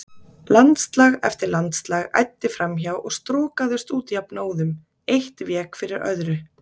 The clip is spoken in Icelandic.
Landslag eftir landslag æddi fram hjá og strokaðist út jafnóðum, eitt vék fyrir öðru.